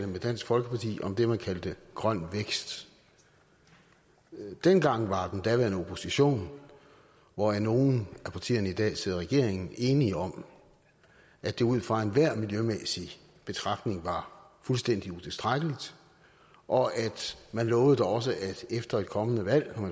med dansk folkeparti om det man kaldte grøn vækst dengang var den daværende opposition hvoraf nogle af partierne i dag sidder i regeringen enige om at det ud fra enhver miljømæssig betragtning var fuldstændig utilstrækkeligt og man lovede da også at efter et kommende valg når